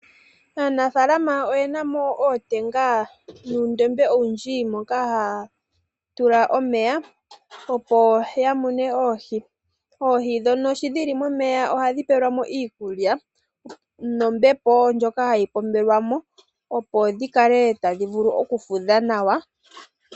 Aanafaalama ok yena mo ootenga noondombe moka haya tula omeya opo ya mune oohi. Oohi dhono sho dhili momeya ohadhi pelwa mo iikulya nombepo ndjoka hayi pombelwa mo opo dhi kale tadhi vulu oku fudha nawa.